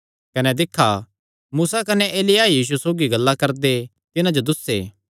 कने दिक्खा मूसा कने एलिय्याह यीशु सौगी गल्लां करदे तिन्हां जो दुस्से